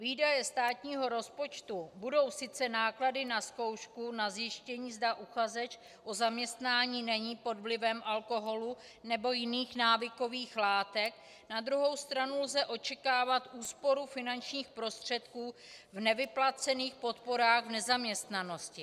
Výdaje státního rozpočtu budou sice náklady na zkoušku na zjištění, zda uchazeč o zaměstnání není pod vlivem alkoholu nebo jiných návykových látek, na druhou stranu lze očekávat úsporu finančních prostředků v nevyplacených podporách v nezaměstnanosti.